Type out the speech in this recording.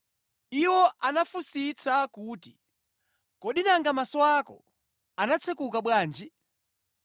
Iwo anafunsitsa kuti, “Kodi nanga maso ako anatsekuka bwanji?”